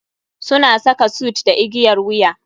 Suna saka suit da igiyar wuya.